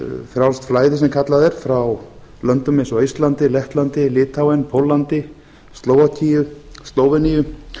frjálst flæði sem kallað er frá löndum eins og eistlandi lettlandi litháen póllandi slóvakíu slóveníu